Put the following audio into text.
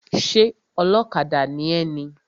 Ṣé ọlọ́kadà ni ẹ ni?